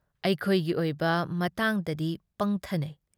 ꯑꯩꯈꯣꯏꯒꯤ ꯑꯣꯏꯕ ꯃꯇꯥꯡꯗꯗꯤ ꯄꯪꯊꯅꯩ ꯫